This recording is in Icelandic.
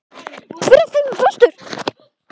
Hver af þeim er bestur?